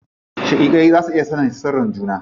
Shaƙiƙai za su iya sanin sirrin juna.